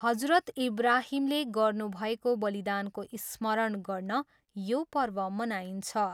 हजरत इब्राहिमले गर्नुभएको वलिदानको स्मरण गर्न यो पर्व मनाइन्छ।